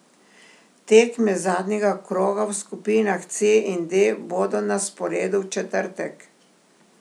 Tekme zadnjega kroga v skupinah C in D bodo na sporedu v četrtek.